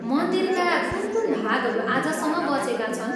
मन्दिरका कुन कुन भागहरू आजसम्म बचेका छन्?